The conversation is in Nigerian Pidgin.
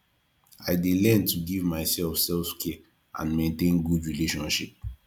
i dey learn to give myself selfcare and maintain good relationship